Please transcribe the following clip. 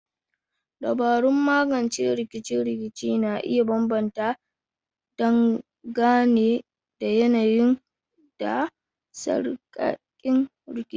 Dabarun magance rikice-rikice na iya bambanta dangane da yanayi da sarkakin rikici.